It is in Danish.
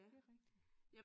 Det er rigtig